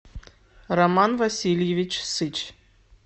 роман васильевич сыч